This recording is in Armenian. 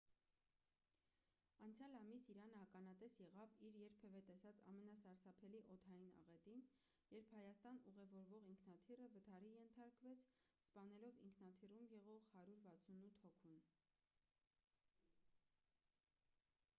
անցյալ ամիս իրանը ականատես եղավ իր երբևէ տեսած ամենասարսափելի օդային աղետին երբ հայաստան ուղևորվող ինքնաթիռը վթարի ենթարկվեց սպանելով ինքնաթիռում եղող 168 հոգուն